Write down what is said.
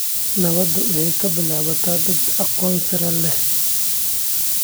Nabadda waxay ka bilaabataa dad aqoon sare leh.